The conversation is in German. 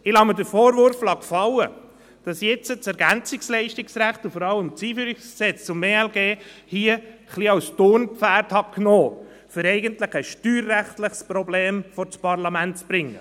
Ich lasse mir den Vorwurf gefallen, dass ich das Ergänzungsleistungsrecht und vor allem das EG ELG als Turnpferd nahm, um eigentlich ein steuerrechtliches Problem vor das Parlament zu bringen.